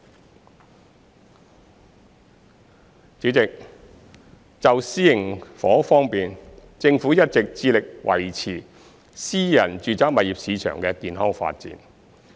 代理主席，就私營房屋方面，政府一直致力維持私人住宅物業市場的健康發展。